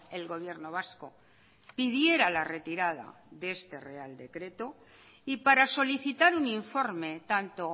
el gobierno vasco pidiera la retirada de este real decreto y para solicitar un informe tanto